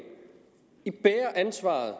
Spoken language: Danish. de bærer ansvaret